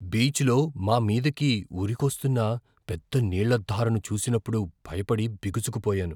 బీచ్లో మా మీదికి ఉరికొస్తున్న పెద్ద నీళ్ళ ధారను చూసినప్పుడు భయపడి, బిగుసుకుపోయాను.